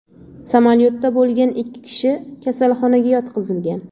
Samolyotda bo‘lgan ikki kishi kasalxonaga yotqizilgan.